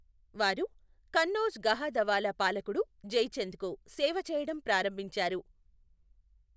వారు కన్నౌజ్ గహాదవాలా పాలకుడు జైచంద్ కు సేవచేయడం ప్రారంభించారు.